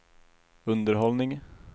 underhållning